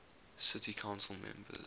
city council members